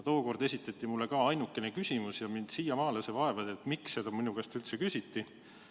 Tookord esitati mulle ka üksainukene küsimus ja mind siiamaani vaevab, miks seda minu käest üldse küsiti.